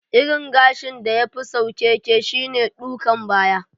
Irin gashin da ya fi saukeke shine ɗukan baya.